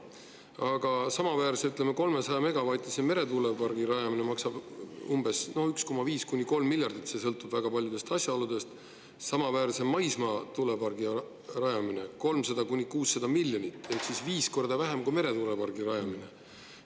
Aga samaväärse, ütleme, 300-megavatise meretuulepargi rajamine maksab umbes 1,5–3 miljardit eurot – see sõltub väga paljudest asjaoludest – ja samaväärse maismaatuulepargi rajamine 300–600 miljonit eurot ehk viis korda vähem kui meretuulepargi rajamine.